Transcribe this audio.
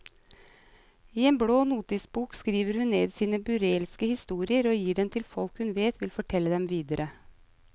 I en blå notisbok skriver hun ned sine vilt burleske historier og gir dem til folk hun vet vil fortelle dem videre.